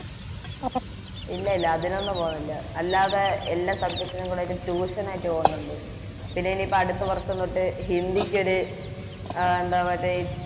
ഇല്ലായില്ല അതിനൊന്നു പോന്നില്ല അല്ലാതെ എല്ലാ Subject നും കൂടെയായിട്ട് Tution ആയിട്ട് പോന്നോണ്ട് പിന്നെയെനിയിപ്പം അടുത്ത വർഷം തൊട്ട് ഹിന്ദിക്കോര് ആ എന്താ മറ്റേ